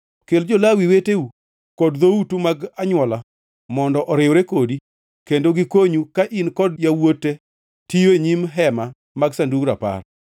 Kel jo-Lawi weteu koa e dhoutu mag anywola mondo oriwre kodi kendo gikonyu ka in kod yawuote tiyo e nyim Hema mar Sandug Rapar.